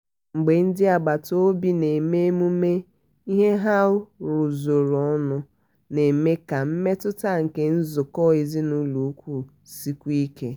mgbe ndị agbata obi na-eme emume ihe ha rụzụrụ ọnụọ na-eme ka mmetụta nke netwok èzinùlọ̀ ùkwù sikwuo ike.